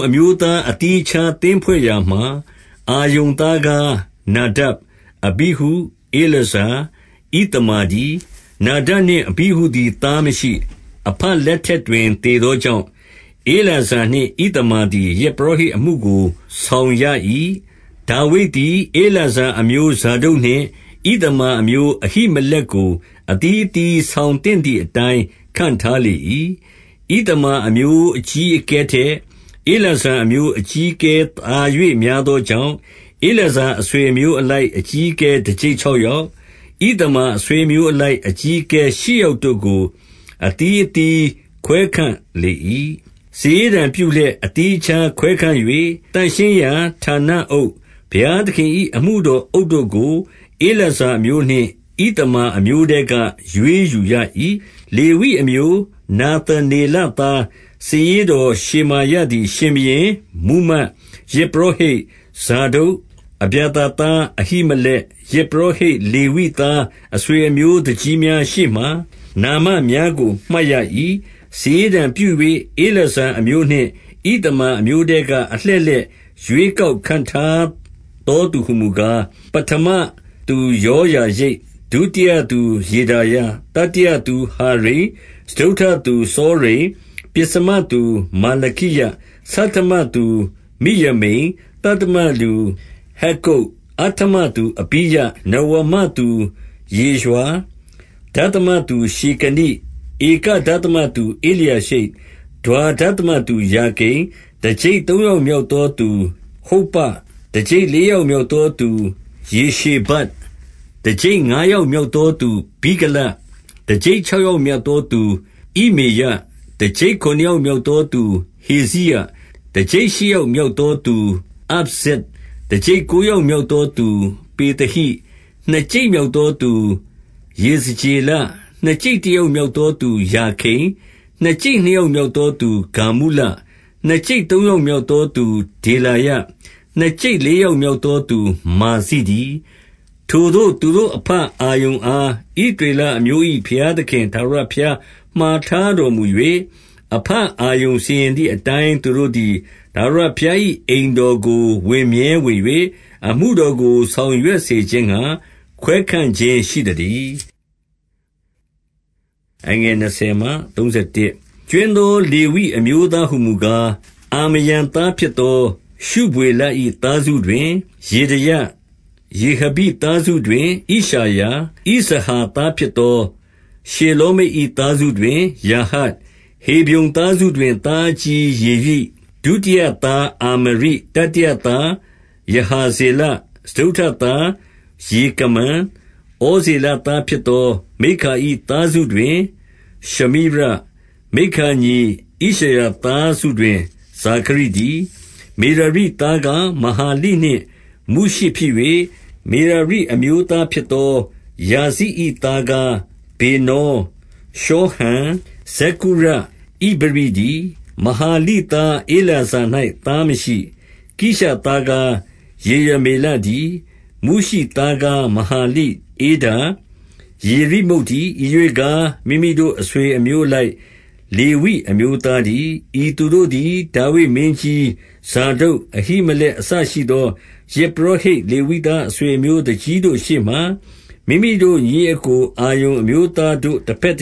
အမျိုးသားအသီးအခြားသင်းဖွဲ့ရာမှာ၊ အာရုန်သားကား နာဒပ်၊ အဘိဟု၊ ဧလာဇာ၊ ဣသမာ တည်း။ 2 နာဒပ်နှင့်အဘိဟုသည်သားမရှိ။ အဘ လက်ထက်တွင် သေသောကြောင့်၊ ဧလာဇာနှင့်ဣသမာ သည် ယဇ်ပုရောဟိတ်အမှုကို ဆောင်ရ၏။ 3 ဒါဝိဒ်သည် ဧလာဇာအမျိုးဇာဒုတ်နှင့် ဣသမာ အမျိုးအဟိမလက်ကို အသီးအသီးဆောင်သင့်သည် အတိုင်းခန့်ထားလေ၏။ 4 ဣသမာအမျိုးအကြီးအကဲထက် ဧလာဇာအမျိုး အကြီးအကဲ သာ၍များသောကြောင့်၊ ဧလာဇာအဆွေ အမျိုးအလိုက် အကြီးအကဲ တကျိပ်ခြောက်ယောက်၊ ဣသမာအဆွေအမျိုးအလိုက် အကြီးအကဲ ရှစ်ယောက် တို့ကို အသီးအသီးခွဲခန့်လေ၏။ 5 စာရေးတံပြုလျက် အသီးအခြား ခွဲခန့်၍ သန့်ရှင်းရာဌာနအုပ်၊ ဘုရားသခင်၏အမှုတော်အုပ်တို့ကို ဧလာဇာအမျိုးနှင့် ဣသမာအမျိုးထဲက ရွေးယူရ၏။ 6 လေဝိအမျိုးနာသနေလသား စာရေးတော် ရှေမာယသည် ရှင်ဘုရင်၊ မှူးမတ်၊ ယဇ်ပုရောဟိတ် ဇာဒုတ်၊ အဗျာသာသား အဟိမလက်၊ ယဇ်ပုရောဟိတ် လေဝိသားအဆွေအမျိုးသူကြီးများ ရှေ့မှာနာမများကို မှတ်ရ၏။ စာရေးတံပြု၍ ဧလာဇာအမျိုးနှင့် ဣသမာ အမျိုးထဲက အလှည့်လှည့် ရွေးကောက်ခန့်ထားသော သူဟူမူကား၊ 7 ပဌမသူယောယာရိပ်၊ ဒုတိယသူယေဒါယ၊ 8 တတိယသူဟာရိမ်၊ စတုတ္ထသူစောရိမ်၊ 9 ပဥ္စမသူမာလခိယ၊ ဆဌမသူမိယမိန်၊ 10 သတ္တမသူဟက္ကုတ်၊ အဋ္ဌမသူအဘိယ၊ 11 နဝမသူယေရွှာ၊ ဒသမသူ ရှေကနိ၊ 12 ဧက ဒသမသူဧလျာရှိပ်၊ ဒွါဒသမသူယာကိမ်၊ 13 တကျိပ်သုံးယောက်မြောက်သော သူဟုပ္ပ၊ တကျိပ်လေးယောက်မြောက်သောသူ ယေရှေဗပ်၊ 14 တကျိပ်ငါးယောက်မြောက်သော သူဗိလဂ၊ တကျိပ်ခြောက်ယောက် မြောက်သောသူဣမ္မေရ၊ 15 တကျိပ်ခုနစ်ယောက်မြောက်သော သူဟေဇိရ၊ တကျိပ်ရှစ် ယောက်မြောက်သူအပ်ဇဇ်၊ 16 တကျိပ်ကိုးယောက်မြောက်သောသူပေသဟိ၊ နှစ်ကျိပ်မြောက်သောသူ ယေဇကျေလ၊ 17 နှစ်ကျိပ်တယောက်မြောက်သောသူ ယာခိန်၊ နှစ်ကျိပ်နှစ်ယောက်မြောက်သောသူ ဂါမုလ၊ 18 နှစ်ကျိပ်သုံးယောက်မြောက်သော သူဒေလာယ၊ နှစ်ကျိပ်လေးယောက်မြောက်သောသူ မာဇိတည်း။ 19 ထိုသို့သူတို့အဘအာရုန်အား ဣသရေလအမျိုး ၏ ဘုရားသခင် ထာဝရဘုရားမှာထားတော်မူ၍၊ အဘ အာရုန်စီရင်သည် အတိုင်းသူတို့သည် ထာဝရဘုရား၏ အိမ်တော်ကို ဝင်မြဲဝင်၍ အမှုတော်ကို ဆောင်ရွက် စေခြင်းငှါ ခွဲခန့်ခြင်းရှိသတည်း။ 20 ကြွင်းသော လေဝိအမျိုးသားဟူမူကား၊ အာမရံ သားဖြစ်သော ရှုဗွေလ၏သားစုတွင် ယေဒေယ၊ 21 ရေဟဘိသားစုတွင် ဣရှယာ၊ ဣဇဟာသား ဖြစ်သော ရှေလောမိတ်၏သားစုတွင် ယာဟတ်၊ 22 ရေဟဘိသားစုတွင် ဣရှယာ၊ ဣဇဟာသား ဖြစ်သော ရှေလောမိတ်၏သားစုတွင် ယာဟတ်၊ 23 ဟေဗြုန်သားစုတွင် သားအကြီးယေရိ၊ ဒုတိယ သားအာမရိ၊ တတိယသားယဟာဇေလ၊ စတုတ္ထသား ယေကမံ၊ 24 ဩဇေလသားဖြစ်သော မိက္ခာ၏သားစုတွင် ရှမိရ၊ 25 မိက္ခာညီဣရှယာသားစုတွင် ဇာခရိတည်း။ 26 မေရာရိသားကား မဟာလိနှင့် မုရှိဖြစ်၍၊ 27 မေရာရိအမျိုးသားဖြစ်သော ယာဇိ၏သားကား ဗေနော၊ ရှောဟံ၊ ဇက္ကုရ၊ ဣဗရိတည်း။ 28 မဟာလိသားဧလာဇာ၌သားမရှိ။ 29 ကိရှသားကား ယေရမေလတည်း။ 30 မုရှိသားကားမဟာလိ၊ ဧဒါ၊ ယေရိမုတ်တည်း။ ဤရွေ့ကား မိမိတို့ အဆွေအမျိုးအလိုက် လေဝိအမျိုး သားတည်း။ 31 ဤသူတို့သည် ဒါဝိဒ်မင်းကြီး၊ ဇာဒုတ်၊ အဟိမ လက်အစရှိသော ယဇ်ပုရောဟိတ်လေဝိသားအဆွေ အမျိုးသူကြီးတို့ရှေ့မှာ မိမိတို့ညီအစ်ကို အာရုန်အမျိုးသား တို့က ဘက်တ